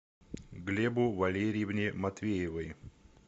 глебу валерьевне матвеевой